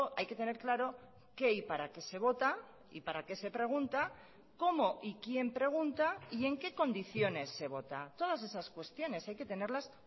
hay que tener claro qué y para qué se vota y para qué se pregunta cómo y quién pregunta y en qué condiciones se vota todas esas cuestiones hay que tenerlas